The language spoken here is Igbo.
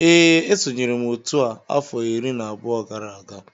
Ee esonyere m otu a afọ iri na abụọ gara aga